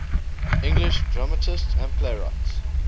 english dramatists and playwrights